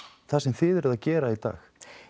það sem þið eruð að gera í dag